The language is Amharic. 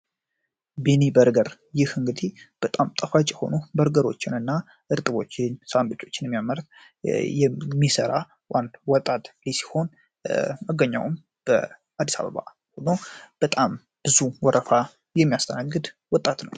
ቢኒ በርገር በጣም ጣፋጭ የሆኑ እርጥቦችን ሳንዱች የሚያምርት የሚሰራው ወጣት ልጅ ሲሆን መገኛውም በአዲስ አበባ ሲሆን በጣም ብዙ ወረፋ የሚያስተናግድ ወጣት ነው።